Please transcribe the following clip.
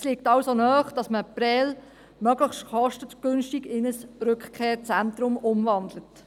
Es liegt also nahe, dass man Prêles möglichst kostengünstig in ein Rückkehrzentrum umwandelt.